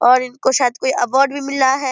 और इनको शायद कोई अवार्ड भी मिला है।